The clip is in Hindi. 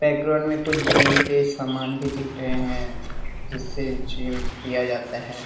बैकग्राउंड में कुछ जिम के समान भी दिख रहे हैं जिससे जिम किया जाता है।